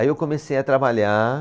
Aí eu comecei a trabalhar.